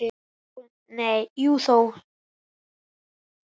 Jú og nei og þó.